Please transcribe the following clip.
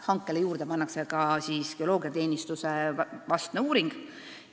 Hankele pannakse siis juurde ka geoloogiateenistuse vastne uuring.